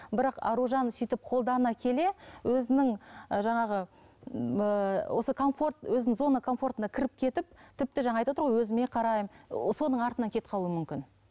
бірақ аружан сөйтіп қолдана келе өзінің жаңағы ыыы осы комфорт өзінің зона комфортына кіріп кетіп тіпті жаңа айтып отыр ғой өзіме қараймын о соның артынан кетіп қалуы мүмкін